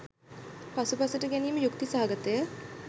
පසුපසට ගැනීම යුක්ති සහගතය.